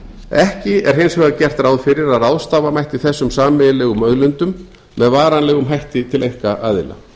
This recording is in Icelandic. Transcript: ekki er hins vegar gert ráð fyrir að ráðstafa mætti þessum sameiginlegu auðlindum með varanlegum hætti til einkaaðila